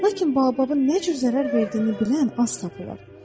Lakin bababın nə cür zərər verdiyini bilən az tapılır.